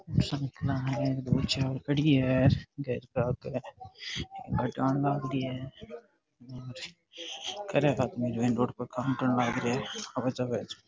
साइकिला है दो चार खड़ी है घर के आगे लाग री है --